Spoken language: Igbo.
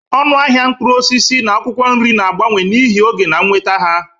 Ọnụ ahịa mkpụrụ osisi na akwụkwọ nri na-agbanwe n'ihi oge na nnweta ha.